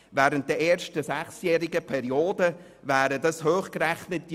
Während der ersten sechsjährigen Periode wären dies hochgerechnet 5 Mio. Franken.